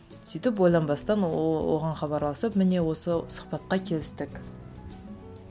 сөйтіп ойланбастан оған хабарласып міне осы сұхбатқа келістік